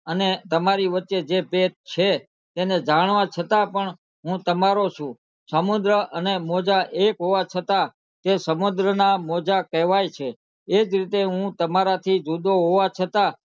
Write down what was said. અને તમારી વચ્ચે જે ભેદ છે તેણે જાણવા છતાં પણ હું તમારો છું સમુદ્ર અને મોજા એક હોવા છતાં તે સમુદ્ર ના મોજા કહેવાય છે એજ રીતે હું તમારાથી જુદું હોવા છતાં